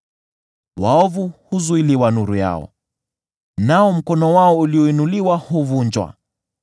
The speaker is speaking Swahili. Waovu huzuiliwa nuru yao, nao mkono wao ulioinuliwa huvunjwa.